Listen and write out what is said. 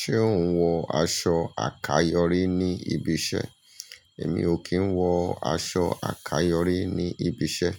Ṣé ò ń wọ aṣọ àkayòrí ní ibi iṣẹ́? Èmi ò kí ń wọ aṣọ àkayòrí ní ibi iṣẹ́.